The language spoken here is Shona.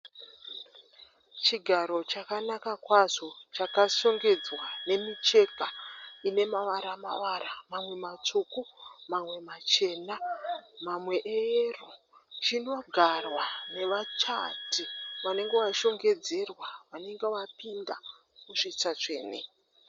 Chigaro chakanaka kwazvo. Chakashongedzwa nemicheka ine mavara mavara mamwe matsvuku mamwe machena mamwe eyero. Chinogarwa nevachati vanenge vashongedzerwa vanenge vapinda musvitsa tsvene.